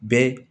Bɛɛ